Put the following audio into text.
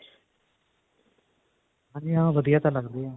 ਹਾਂਜੀ ਹਾ ਵਧੀਆ ਤਾਂ ਲਗਦੇ ਹੈ.